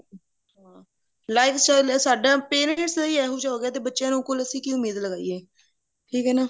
life style ਇਹ ਸਾਡਾ parents ਦਾ ਹੀ ਇਹੋ ਜਿਹਾ ਹੋ ਗਿਆ ਤੇ ਬੱਚਿਆ ਕੋਲੋ ਅਸੀਂ ਕਿ ਉਮੀਦ ਲਗਾਈਏ ਠੀਕ ਹੈ ਨਾ